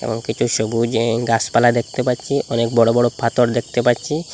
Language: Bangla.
আমি কিছু সবুজ অ্যা গাসপালা দেখতে পাচ্ছি অনেক বড় বড় পাথর দেখতে পাচ্ছি।